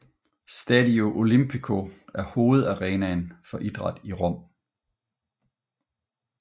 Stadio Olimpico er hovedarenaen for idræt i Rom